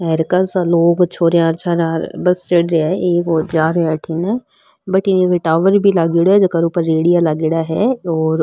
अर कासा लोग छोरिया छोरा बस चढ़ रहा है एक और जारा है अठीने बटन कोई टावर भी लागेड़ो है जेकर ऊपर रेडिया लागेड़ा है और --